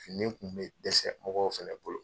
Fini kun bɛ dɛsɛ mɔgɔw fɛnɛ bolo.